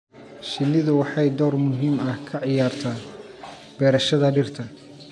Shinnidu waxay door muhiim ah ka ciyaartaa beerashada dhirta.